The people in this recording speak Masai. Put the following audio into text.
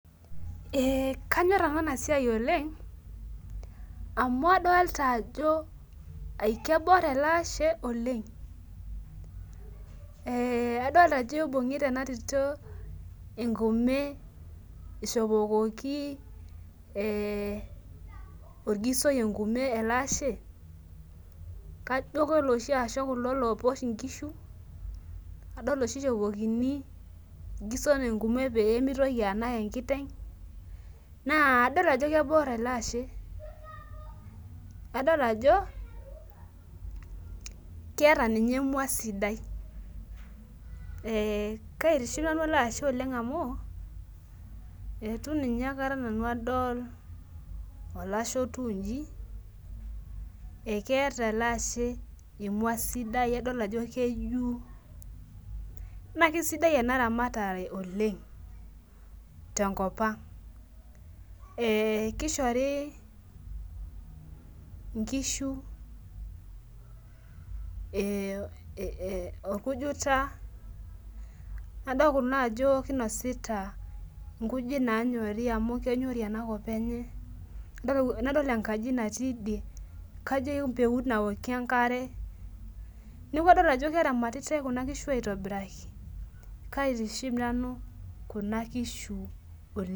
Ee kanyor nanu enasia oleng amu adolta ajo kebor elaashe oleng adolta ajo ibungita ena tito enkume ishopokiti orgisoi enkurma kajo loshi asho kulo opuo nkishu kadol oshi ishopokini orgisoi pemitoki anak enkitengna adol ajo kegol elaashe adol ajo keeta nye emua sidai kaitiship nanu eleashe amu etu aikata nanu adol olashe otiu nji adol ajo keeta emwa sidai na Kesidai ena ramatare oleng tenkopang kishori nkishu orkunita nadol naa ajo kinasita nkujit nanyori amu kenyori enkop enye nadol enkaji natii ine kajo empeut naokie enkare neaku kadol ajo keramatitai kuna kishi aitobiraki oleng.